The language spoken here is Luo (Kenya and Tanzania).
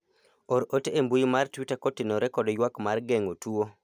or ore e mbui mar twita kotenore kod ywak mar geng'o tuo